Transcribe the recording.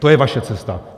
To je vaše cesta.